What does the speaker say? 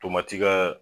Tomati kɛ